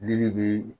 Ne de bi